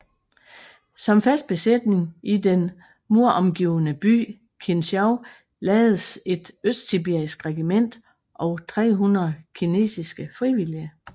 Som fast besætning i den muromgivne by Kintschou lagdes et østsibirisk regiment og 300 kinesiske frivillige